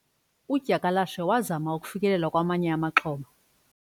udyakalashe wazama ukufikelela kwamanye amaxhoba